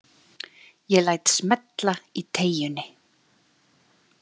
Ég læt smella í teygjunni.